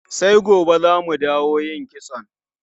Sai gobe za mu dawo yin kitson.